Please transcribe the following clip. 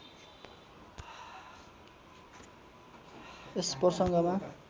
यस प्रसङ्गमा